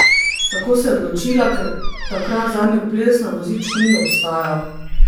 Tako se je odločila, ker takrat zanjo ples na vozičku ni obstajal.